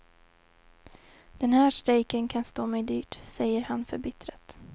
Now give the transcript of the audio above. Den här strejken kan stå mig dyrt, säger han förbittrat.